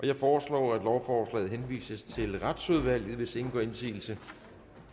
jeg foreslår at lovforslaget henvises til retsudvalget hvis ingen gør indsigelse